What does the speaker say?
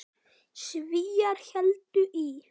Svíar héldu í